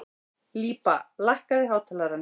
Líba, lækkaðu í hátalaranum.